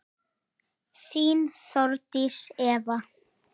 Þín, Þórdís Eva.